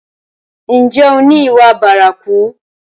Ǹjẹ́ o ni ìwà bárakú?